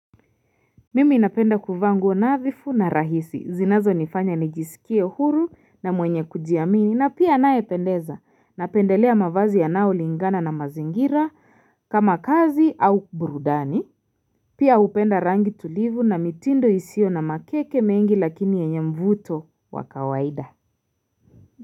Mimi ninapenda kuvaa nguo nadhifu na rahisi zinazonifanya nijisikie huru na mwenye kujiamini na pia anayependeza napendelea mavazi yanayolingana na mazingira kama kazi au burudani Pia hupenda rangi tulivu na mitindo isiyo na makeke mengi lakini yenye mvuto wa kawaida.